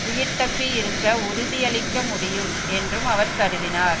உயிர் தப்பி இருக்க உறுதியளிக்க முடியும் என்றும் அவர் கருதினார்